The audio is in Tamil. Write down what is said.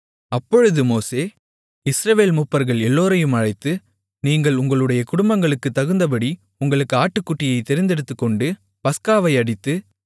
அப்பொழுது மோசே இஸ்ரவேல் மூப்பர்கள் எல்லோரையும் அழைத்து நீங்கள் உங்களுடைய குடும்பங்களுக்குத் தகுந்தபடி உங்களுக்கு ஆட்டுக்குட்டியைத் தெரிந்தெடுத்துக்கொண்டு பஸ்காவை அடித்து